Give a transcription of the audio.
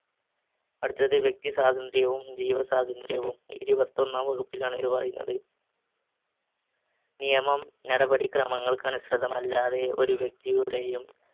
അടുത്തത് വ്യക്തി സ്വാതന്ത്ര്യവും ജീവസ്വാതന്ത്ര്യം, ഇരുപതൊന്നാം വകുപ്പിലാണ് ഇത് പറയുന്നത്. നിയമം നടപടിക്രമങ്ങൾക്കനുസൃതമല്ലാതെ ഒരു വ്യക്തിയുടെയും